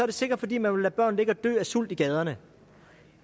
det sikkert fordi man vil lade børn ligge og dø af sult i gaderne